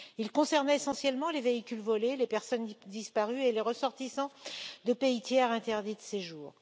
Il concernait essentiellement les véhicules volés, les personnes disparues et les ressortissants de pays tiers interdits de séjour.